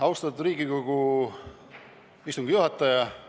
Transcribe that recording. Austatud Riigikogu istungi juhataja!